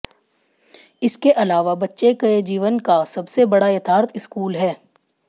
इसके अलावा बच्चे के जीवन का सबसे बड़ा यथार्थ स्कूल है